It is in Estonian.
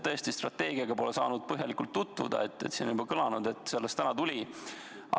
Tõesti, strateegiaga pole saanud põhjalikult tutvuda, siin on juba kõlanud, et see alles täna tuli.